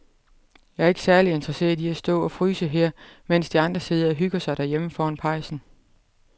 Jeg er ikke særlig interesseret i at stå og fryse her, mens de andre sidder og hygger sig derhjemme foran pejsen.